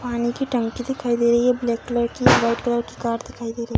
पानी की टंकी दिखाई दे रही है ब्लैक कलर की वाइट कलर की कार दिखाई दे रही --